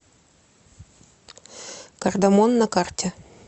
кардамон на карте